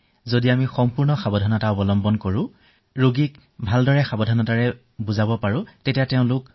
যদি আমি সম্পূৰ্ণ সাৱধানতা অৱলম্বন কৰো ৰোগীসকলক সাৱধানতাসমূহ বুজাই দিও তেতিয়া সকলো ঠিকে থাকিব